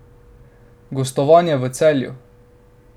Gostovanje v Celju.